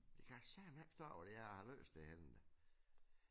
Jeg kan satme ikke forstå hvor det er jeg har